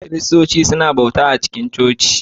Kiristoci suna bauta a cikin coci